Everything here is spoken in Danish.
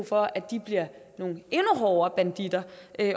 for at de bliver nogle endnu hårdere banditter